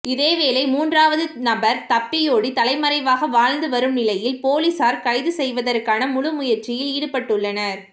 இதேவேளை மூன்றாவது நபர் தப்பியோடி தலைமறைவாக வாழ்ந்துவரும் நிலையில் பொலிஸார் கைது செய்வதற்கான முழு முயற்சியில் ஈடுபட்டுள்ளனர்